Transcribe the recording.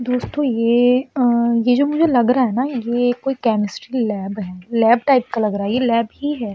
दोस्तों ये आँ ये जो मुझे लग रहा है ना ये कोई केमिस्ट्री लैब है। लैब टाइप का लग रहा है ये। ये लैब ही है।